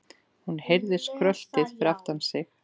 Hún heyrði skröltið fyrir aftan sig.